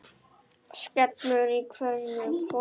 skellur í hverju horni.